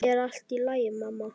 Er allt í lagi, mamma?